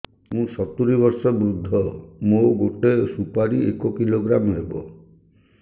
ମୁଁ ସତୂରୀ ବର୍ଷ ବୃଦ୍ଧ ମୋ ଗୋଟେ ସୁପାରି ଏକ କିଲୋଗ୍ରାମ ହେବ